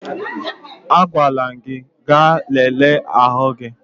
Agwara m gị ga lelee ahụ gị!